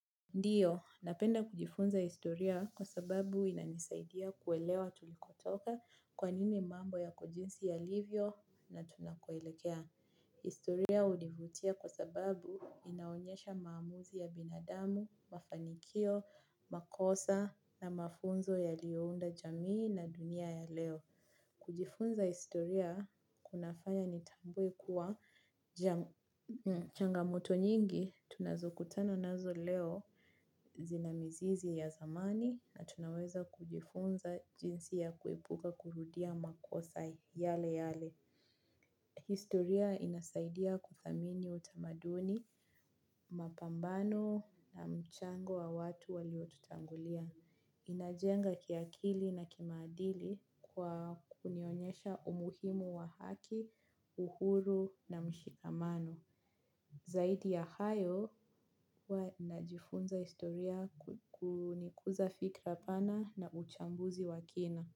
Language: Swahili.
Ndiyo, napenda kujifunza historia kwa sababu inanisaidia kuelewa tulikotoka kwa nini mambo yako jinsi ya livyo na tunakoelekea. Historia hunivutia kwa sababu inaonyesha maamuzi ya binadamu, mafanikio, makosa na mafunzo yaliounda jamii na dunia ya leo. Kujifunza historia kunafanya nitambue kuwa changamoto nyingi tunazokutana nazo leo zina mizizi ya zamani na tunaweza kujifunza jinsi ya kuepuka kurudia makosa yale yale. Historia inasaidia kudhamini utamaduni, mapambano na mchango wa watu waliotutangulia. Inajenga kiakili na kimaadili kwa kunionyesha umuhimu wa haki, uhuru na mshikamano. Zaidi ya hayo, huwa na jifunza historia kunikuza fikra pana na uchambuzi wa kina.